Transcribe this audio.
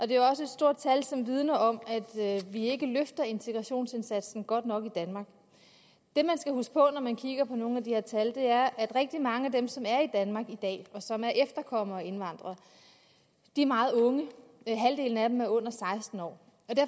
det er også et stort tal som vidner om at vi ikke løfter integrationsindsatsen godt nok i danmark det man skal huske på når man kigger på nogle af de her tal er at rigtig mange af dem som er i danmark i dag og som er efterkommere af indvandrere er meget unge halvdelen af dem er under seksten år